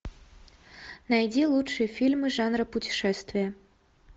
найди лучшие фильмы жанра путешествия